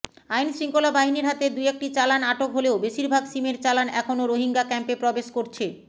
আইনশৃঙ্খলা বাহিনীর হাতে দুয়েকটি চালান আটক হলেও বেশিরভাগ সিমের চালান এখনও রোহিঙ্গা ক্যাম্পে প্রবেশ করছে